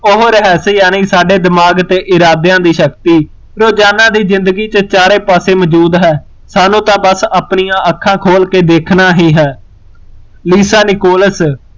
ਉਹ ਰਹੱਸ ਯਾਨੀ ਸਾਡੇ ਦਿਮਾਗ ਤੇ ਇਰਾਦਿਆ ਦੀ ਸ਼ਕਤੀ, ਰੋਜ਼ਾਨਾ ਦੀ ਜ਼ਿੰਦਗੀ ਚ ਚਾਰੇ ਪਾਸੇ ਮੋਜੂਦ ਹੈ, ਸਾਨੂ ਤਾਂ ਬਸ ਅਪਣੀਆ ਅੱਖਾਂ ਖੋਲ ਕੇ ਦੇਖਣ ਹੀਂ ਹੈ ਲੀਸਾ ਲਕੋਲਸ